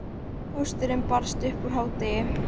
Pósturinn barst upp úr hádegi.